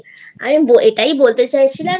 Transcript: আমি এটাই বলতে চাইছিলাম যে